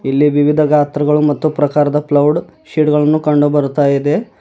ಇಲ್ಲಿ ವಿವಿಧ ಗಾತ್ರಗಳು ಮತ್ತು ಪ್ರಕಾರದ ಪ್ಲೌಡ್ ಶೀಟ್ ಗಳನ್ನು ಕಂಡು ಬರುತ್ತಾ ಇದೆ.